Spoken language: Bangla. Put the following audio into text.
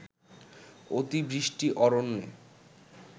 অতিবৃষ্টি অরণ্যে